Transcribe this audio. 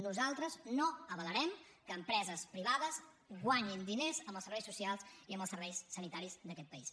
nosaltres no avalarem que empreses privades guanyin diners amb els serveis socials i amb els serveis sanitaris d’aquest país